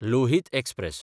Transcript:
Lohit express